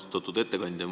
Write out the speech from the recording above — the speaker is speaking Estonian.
Austatud ettekandja!